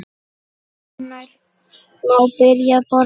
Hvenær má byrja að borða?